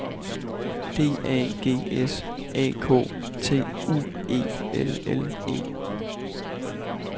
D A G S A K T U E L L E